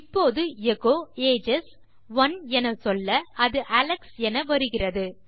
இப்போது எச்சோ ஏஜஸ் ஒனே எனச்சொல்ல அது அலெக்ஸ் என வருகிறது